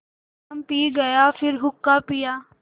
चिलम पी गाया फिर हुक्का पिया